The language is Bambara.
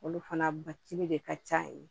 Olu fana ba cili de ka ca yen